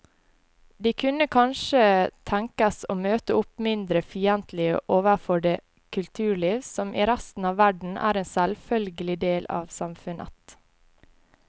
De kunne kanskje tenkes å møte opp mindre fiendtlige overfor det kulturliv som i resten av verden er en selvfølgelig del av samfunnet.